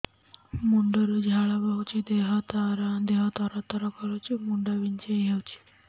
ମୁଣ୍ଡ ରୁ ଝାଳ ବହୁଛି ଦେହ ତର ତର କରୁଛି ମୁଣ୍ଡ ବିଞ୍ଛାଇ ହଉଛି